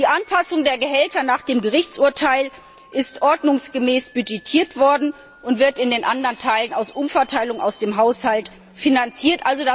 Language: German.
Die Anpassung der Gehälter nach dem Gerichtsurteil wurde ordnungsgemäß budgetiert und wird in den anderen Teilen aus Umverteilung aus dem Haushalt finanziert.